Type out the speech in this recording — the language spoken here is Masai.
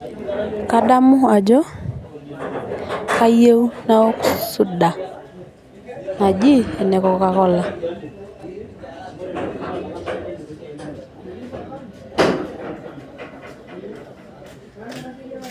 kadamu ajo kayieu naok suda naji ene coca cola